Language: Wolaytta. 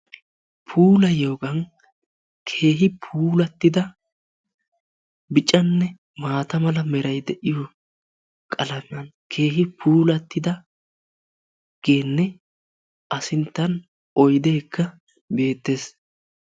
Puuliyooyagan keehi puulattida, biccanne maata mala. meray de'iyo qalamiyaan keehi puulattidagenne a sinttan oyddekka beettees.